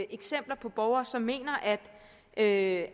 eksempler på borgere som mener at